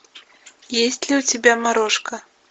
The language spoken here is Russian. есть ли у тебя морошка